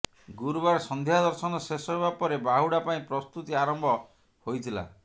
ଗୁରୁବାର ସନ୍ଧ୍ୟା ଦର୍ଶନ ଶେଷ ହେବା ପରେ ବାହୁଡ଼ା ପାଇଁ ପ୍ରସ୍ତୁତି ଆରମ୍ଭ ହୋଇଥିଲା